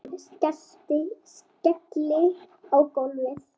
Skelli í gólfið.